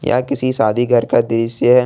यह किसी शादी घर का दृश्य है।